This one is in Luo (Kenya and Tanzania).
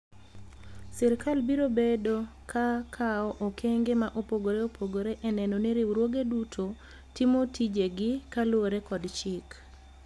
sirikal biro bedo ka kawo okenge ma opogore opogore e neno ni riwruoge duto timo tijegi kaluwore kod chik